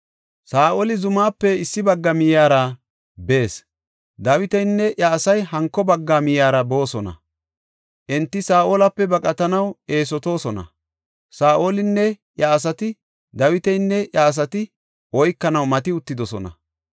Saa7oli zumaape issi bagga miyiyara bees; Dawitinne iya asay hanko bagga miyiyara boosona. Enti Saa7olape baqatanaw eesotoosona; Saa7olinne iya asati, Dawitanne iya asata oykanaw mati uttidosona.